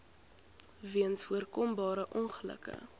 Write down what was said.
weens voorkombare ongelukke